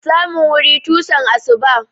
Samun wuri tusan asuba.